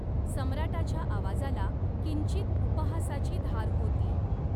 सम्राटाच्या आवाजाला किंचित उपहासाची धार होती.